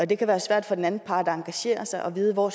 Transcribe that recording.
det kan være svært for den anden part at engagere sig og vide hvor